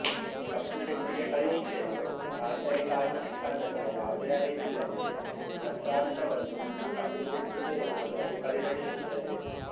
ಕಪ್ಪುಪೆಟ್ಟಿಗೆ ಪರೀಕ್ಷೆಯು ಆಂತರಿಕ ಅನುಷ್ಠಾನದ ಯಾವುದೇ ಅರಿವಿಲ್ಲದೆಯೇ ತಂತ್ರಾಂಶವನ್ನು ಒಂದು ಕಪ್ಪುಪೆಟ್ಟಿಗೆ ಎಂಬುದಾಗಿ ಪರಿಗಣಿಸುತ್ತದೆ